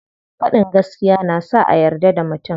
Faɗin gaskiya na sa a yarda da mutum.